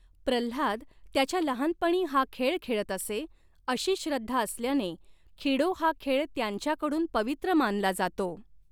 प्रह्लाद त्याच्या लहानपणी हा खेळ खेळत असे अशी श्रद्धा असल्याने खिडो हा खेळ त्यांच्याकडून पवित्र मानला जातो.